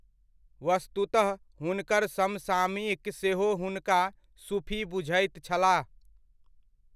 वस्तुतह हुनकर समसामयिक सेहो हुनका सूफी बुझैत छलाह।